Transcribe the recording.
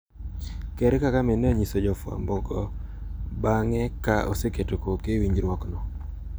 Ker Kagame ne onyiso jofwambo go bang`e ka oseketo koke e winjruokno.